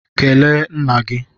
Kelee nna gị!